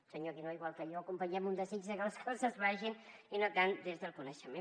el senyor guinó igual que jo acompanyem un desig que les coses vagin i no tant des del coneixement